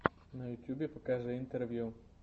на ютюбе покажи интервью